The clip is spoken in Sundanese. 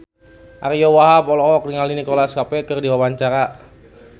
Ariyo Wahab olohok ningali Nicholas Cafe keur diwawancara